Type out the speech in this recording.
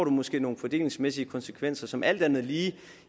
måske nogle fordelingsmæssige konsekvenser som alt andet lige